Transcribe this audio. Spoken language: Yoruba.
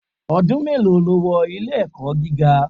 Ọdún mélòó lo wọ ilé-ẹ̀kọ́ gíga?